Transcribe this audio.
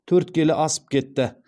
төрт келі асып кетті